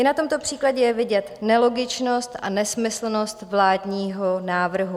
I na tomto příkladě je vidět nelogičnost a nesmyslnost vládního návrhu.